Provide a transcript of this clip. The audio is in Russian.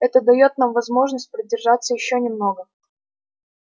это даёт нам возможность продержаться ещё немного